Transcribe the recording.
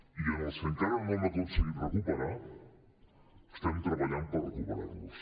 i als que encara no hem aconseguit recuperar estem treballant per recuperar los